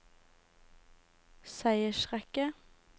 seiersrekke